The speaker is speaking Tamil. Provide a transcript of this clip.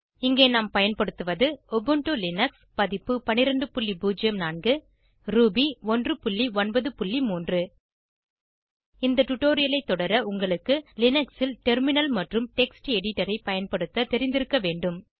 இங்கே நாம் பயன்படுத்துவது உபுண்டு லினக்ஸ் பதிப்பு 1204 ரூபி 193 இந்த டுடோரியலை தொடர உங்களுக்கு லினக்ஸில் டெர்மினல் மற்றும் டெக்ஸ்ட் எடிடரை பயன்படுத்த தெரிந்திருக்க வேண்டும்